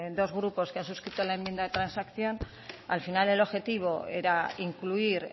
dos grupos que han suscrito la enmienda de transacción al final el objetivo era incluir